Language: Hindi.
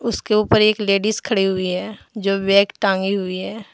उसके ऊपर एक लेडिस खड़ी हुई है जो बैग टांगी हुई है।